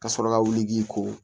Ka sɔrɔ ka wuli k'i ko